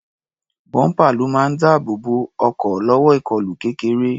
Bọ́ḿpà ló máa ń dáàbò bo ọkọ̀ lọ́wọ́ ìkọlù kéreké.